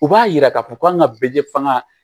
U b'a yira k'a fɔ ko an ka bɛɛ fanga